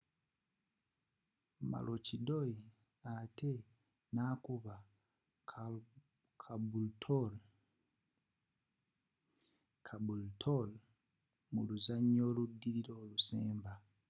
maroochydore ate nakuba caboolture mu luzanya oludilila olusemba